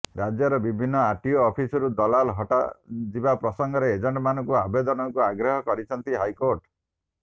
ରାଜ୍ୟର ବିଭିନ୍ନ ଆର୍ଟିଓ ଅଫିସରୁ ଦଲାଲ ହଟାଯିବା ପ୍ରସଙ୍ଗରେ ଏଜେଣ୍ଟମାନଙ୍କ ଆବେଦନକୁ ଅଗ୍ରାହ୍ୟ କରିଛନ୍ତି ହାଇକୋର୍ଟ